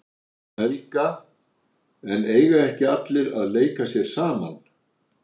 Helga: En eiga ekki allir að leika sér saman?